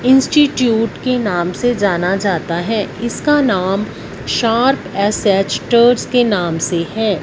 Institute के नाम से जाना जाता है इसका नाम शार्प एस_एच के नाम से है।